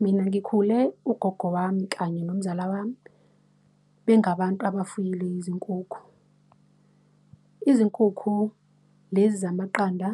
Mina ngikhule ugogo wami kanye nomzala wami bengabantu abafuyile izinkukhu. Izinkukhu lezi zamaqanda,